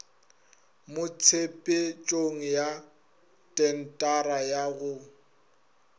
mo tshepetšong ya thentara go